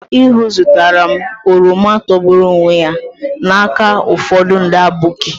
Ihuu zụtara m oroma togburu onwe ya n'aka ụfọdụ ndị aboki.